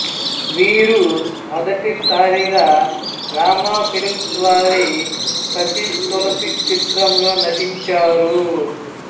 వీరు మొదటిసారిగా రామా ఫిలిమ్స్ వారి సతీ తులసి చిత్రంలో నటించారు